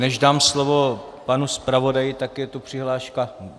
Než dám slovo panu zpravodaji, tak je tu přihláška...